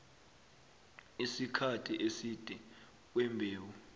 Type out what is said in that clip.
isikhathi eside kwembewu